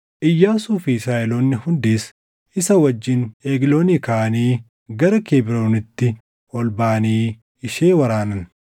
Iyyaasuu fi Israaʼeloonni hundis isa wajjin Egloonii kaʼanii gara Kebroonitti ol baʼanii ishee waraanan.